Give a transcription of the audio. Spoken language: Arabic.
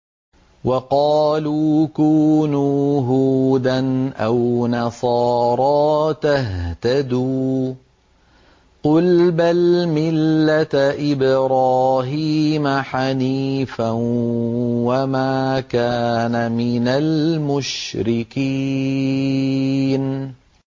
وَقَالُوا كُونُوا هُودًا أَوْ نَصَارَىٰ تَهْتَدُوا ۗ قُلْ بَلْ مِلَّةَ إِبْرَاهِيمَ حَنِيفًا ۖ وَمَا كَانَ مِنَ الْمُشْرِكِينَ